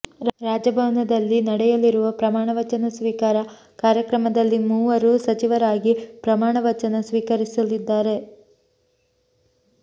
ರಾಜಭವನದಲ್ಲಿ ನಡೆಯಲಿರುವ ಪ್ರಮಾಣವಚನ ಸ್ವೀಕಾರ ಕಾರ್ಯಕ್ರಮದಲ್ಲಿ ಮೂವರು ಸಚಿವರಾಗಿ ಪ್ರಮಾಣವಚನ ಸ್ವೀಕರಿಸಲಿದ್ದಾರೆ